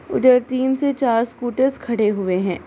उधर तीन से चार स्कूटर्स खड़े हुए हैं।